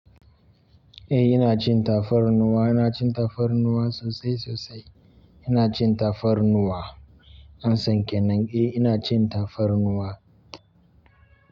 Eh ina cin tafarnuwa, ina cin tafarnuwa sosai sosai. Ina cin tafarnuwa. An sanke nan. Eh ina cin tafarnuwa.